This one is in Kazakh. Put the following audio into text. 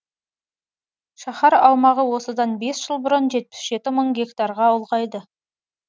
шаһар аумағы осыдан бес жыл бұрын жетпіс жеті мың гектарға ұлғайды